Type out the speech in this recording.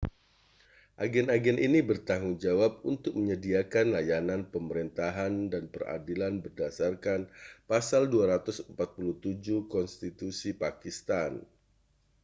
agen-agen ini bertanggung jawab untuk menyediakan layanan pemerintah dan peradilan berdasarkan pasal 247 konstitusi pakistan